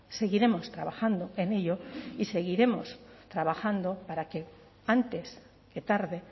seguiremos trabajando en ello y seguiremos trabajando para que antes que tarde